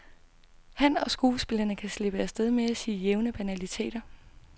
Han og skuespillerne kan slippe af sted med at sige jævne banaliteter.